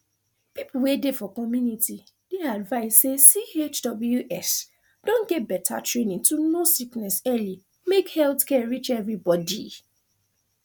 people wey dey for community dey advised say chws don get beta training to know sickness early make health care reach everybody